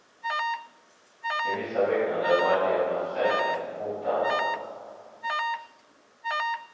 I vissa byggnader var elevernas säkerhet hotad.